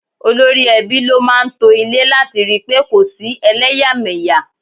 Olórí ẹbí ló máa ń to ilé láti ri pé kò sí eleyameya.